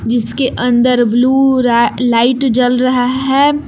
इसके अंदर blue light जल रहा है।